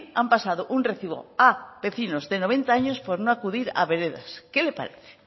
han pasado un recibo a vecinos de noventa años por no acudir a veredas qué le parece